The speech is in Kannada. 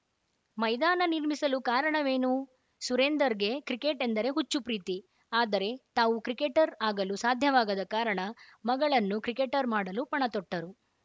ಮೈದಾನ ನಿರ್ಮಿಸಲು ಕಾರಣವೇನು ಸುರೇಂದರ್‌ಗೆ ಕ್ರಿಕೆಟ್‌ ಎಂದರೆ ಹುಚ್ಚು ಪ್ರೀತಿ ಆದರೆ ತಾವು ಕ್ರಿಕೆಟರ್‌ ಆಗಲು ಸಾಧ್ಯವಾಗದ ಕಾರಣ ಮಗಳನ್ನು ಕ್ರಿಕೆಟರ್‌ ಮಾಡಲು ಪಣತೊಟ್ಟರು